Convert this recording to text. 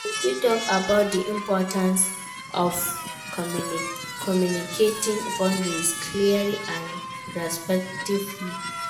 You fit talk about di importance of communicating boundaries clearly and respectfully.